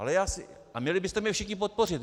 A měli byste mě všichni podpořit.